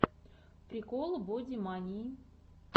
прикол бодимании